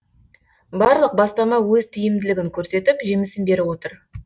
барлық бастама өз тиімділігін көрсетіп жемісін беріп отыр